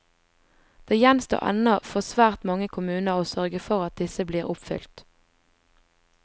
Det gjenstår ennå for svært mange kommuner å sørge for at disse blir oppfylt.